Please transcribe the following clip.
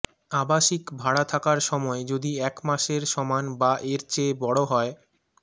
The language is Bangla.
আবাসিক ভাড়া থাকার সময় যদি এক মাসের সমান বা এর চেয়ে বড় হয়